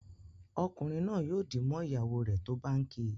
Ọkunrin naa yóò dì mọ ìyàwó rẹ tó bá ǹ kí.